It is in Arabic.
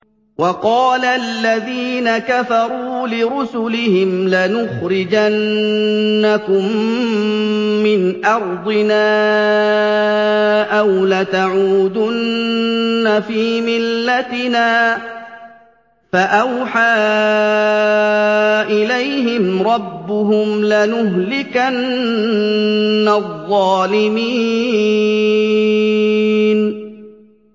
وَقَالَ الَّذِينَ كَفَرُوا لِرُسُلِهِمْ لَنُخْرِجَنَّكُم مِّنْ أَرْضِنَا أَوْ لَتَعُودُنَّ فِي مِلَّتِنَا ۖ فَأَوْحَىٰ إِلَيْهِمْ رَبُّهُمْ لَنُهْلِكَنَّ الظَّالِمِينَ